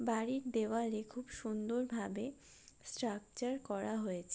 বাড়ির দেয়ালে খুব সুন্দর ভাবে স্ট্রাকচার করা হয়েছে--